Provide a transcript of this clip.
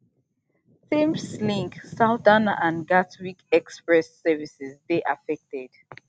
thameslink southern and gatwick express services dey affected